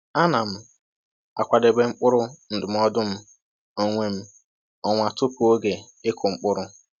A na m akwadebe mkpụrụ ndụmọdụ m onwe m ọnwa tupu oge ịkụ mkpụrụ.